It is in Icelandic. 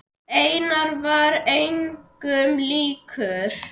Einar var engum líkur.